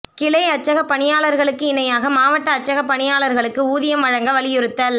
கிளை அச்சக பணியாளா்களுக்கு இணையாக மாவட்ட அச்சக பணியாளா்களுக்கு ஊதியம் வழங்க வலியுறுத்தல்